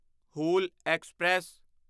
Hul express